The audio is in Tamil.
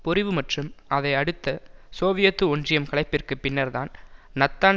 பொறிவு மற்றும் அதை அடுத்த சோவியத் ஒன்றியம் கலைப்பிற்கு பின்னர்தான் நத்தான்